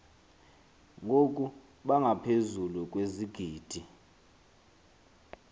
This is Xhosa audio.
ngoku bangaphezulu kwezigidi